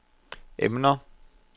emner